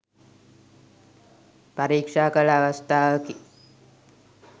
පරීක්ෂා කළ අවස්ථාවකි.